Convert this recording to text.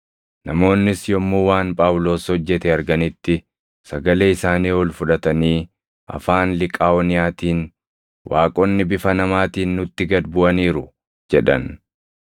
Namoonnis yommuu waan Phaawulos hojjete arganitti, sagalee isaanii ol fudhatanii afaan Liqaaʼooniyaatiin, “Waaqonni bifa namaatiin nutti gad buʼaniiru!” jedhan.